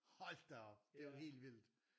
Hold da op! Det er jo helt vildt